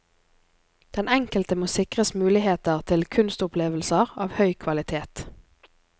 Den enkelte må sikres muligheter til kunstopplevelser av høy kvalitet.